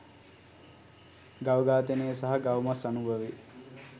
ගව ඝාතනය සහ ගව මස් අනුභවය